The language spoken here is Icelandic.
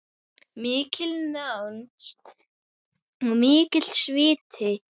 Mikil nánd og mikill sviti.